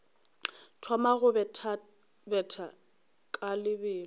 thoma go bethabetha ka lebelo